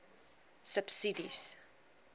subsidies